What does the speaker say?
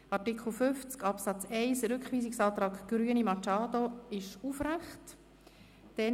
Zu Artikel 50 Absatz 1: Der Rückweisungsantrag Grüne/Machado wird aufrechterhalten.